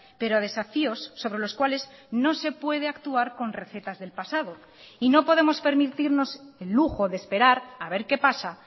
pero desafíos sobre los cuales no se puede actuar con recetas del pasado y no podemos permitirnos el lujo de esperar a ver qué pasa